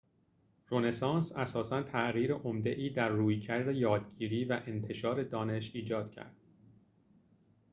رونسانس اساساً تغییر عمده‌ای در رویکرد یادگیری و انتشار دانش ایجاد کرد